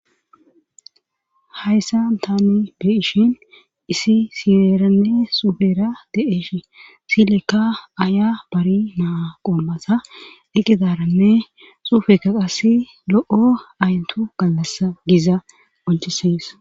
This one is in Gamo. Hayssan tani beishin isi siyeeranne sufera de7eesh silekka aya bari naa qommasa eqizaranne suufeka qass lo7o ayyntu gallasa giza qonchisees.